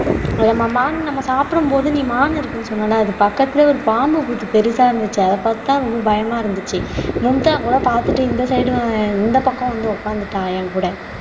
நம்ம மான் நம்ம சாப்பிடு போது நீ மான் இருக்கன்னு சொன்னில அது பக்கத்துலயே ஒரு பாம்பு புத்து பெருசா இருந்துச்சு அத பாத்து தான் ரொம்ப பயமா இருந்துச்சு மும்தா கூட பாத்துட்டு இந்த side இந்தப் பக்கம் வந்து உக்காந்துட்டா என் கூட